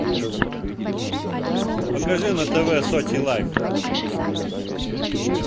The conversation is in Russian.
покажи на тв сочи лайф